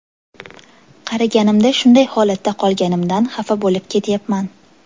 Qariganimda shunday holatda qolganimdan xafa bo‘lib ketyapman.